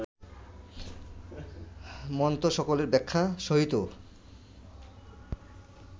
মন্ত্রসকলের ব্যাখ্যা সহিত